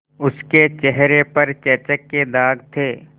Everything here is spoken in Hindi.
उसके चेहरे पर चेचक के दाग थे